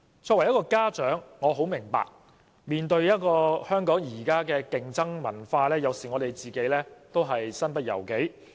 身為一名家長，我很明白香港現時面對的競爭文化，有時候家長也感到身不由己。